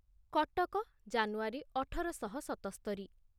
କଟକ ଜାନୁଆରୀ ଅଠର ଶହ ସତସ୍ତରି